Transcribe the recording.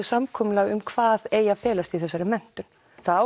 samkomulag um hvað eigi að felast í þessari menntun það á